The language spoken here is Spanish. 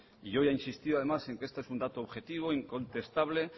yo he insistido además en que esto es un dato objetivo incontestable